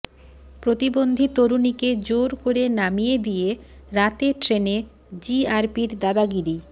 প্রতিবন্ধী তরুণীকে জোর করে নামিয়ে দিয়ে রাতের ট্রেনে জিআরপির দাদাগিরি